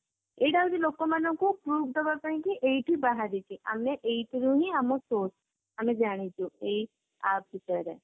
ଏଇଟା ହଉଛି ଲୋକମାନଙ୍କୁ prove ଦବା ପାଇଁକି ଏଇଠି ବାହାରିଛି ଆମେ ଏଇଥିରୁ ହିଁ ଆମ source ଆମେ ଜାଣିଛୁ ଏଇ app ବିଷୟରେ